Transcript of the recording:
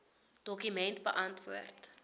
dokument beantwoord